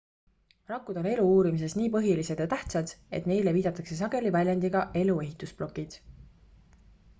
rakud on elu uurimises nii põhilised ja tähtsad et neile viidatakse sageli väljendiga elu ehitusplokid